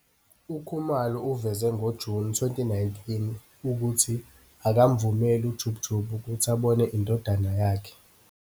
UKhumalo uveze ngoJuni 2019 ukuthi akamvumeli uJub Jub ukuthi abone indodana yakhe.